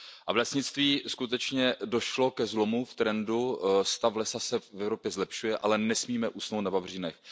V lesnictví skutečně došlo ke zlomu v trendu, stav lesa se v Evropě zlepšuje, ale nesmíme usnout na vavřínech.